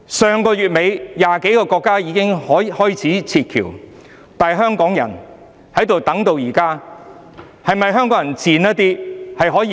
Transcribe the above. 上月底 ，20 多個國家已經開始撤僑，但香港人等到現在仍未能離去。